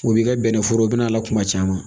O b'i ka bɛnɛforo bɛna kuma caman